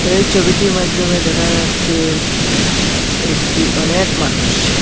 এই চবিটির মাইদ্যমে দেখা যাচ্ছে একটি অনেক মানুষ।